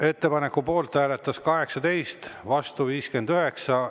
Ettepaneku poolt hääletas 18, vastu 59.